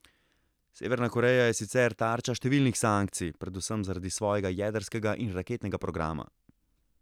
Severna Koreja je sicer tarča številnih sankcij, predvsem zaradi svojega jedrskega in raketnega programa.